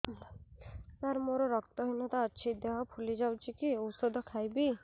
ସାର ମୋର ରକ୍ତ ହିନତା ଅଛି ଦେହ ଫୁଲି ଯାଉଛି କି ଓଷଦ ଖାଇବି